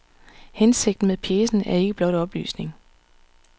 Hensigten med pjecen er ikke blot oplysning.